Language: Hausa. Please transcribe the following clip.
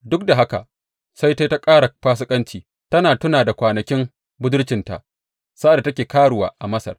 Duk da haka sai ta yi ta ƙara fasikanci tana tuna da kwanakin budurcinta, sa’ad da take karuwa a Masar.